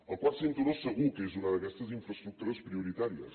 el quart cinturó segur que és una d’aquestes infraestructures prioritàries